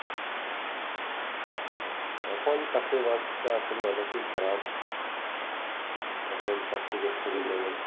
এখন চাকরির বাজারটা আসলে অনেকেই খারাপ এখন চাকরি করতে গেলে